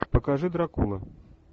покажи дракула